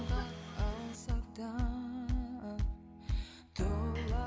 алсақ та тұла